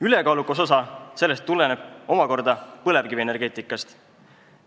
Ülekaalukas osa sellest tuleneb omakorda põlevkivienergeetikast.